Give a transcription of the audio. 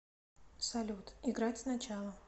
салют играть сначала